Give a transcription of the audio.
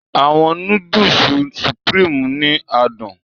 Àwọn Núdúùsù Supreme ni adùn